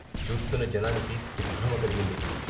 చూస్తున్న జనానికి దిగ్భ్రమ కలిగింది.